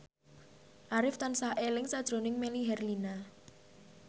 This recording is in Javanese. Arif tansah eling sakjroning Melly Herlina